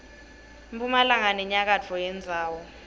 mphumalanga nenyakatfo yendzawo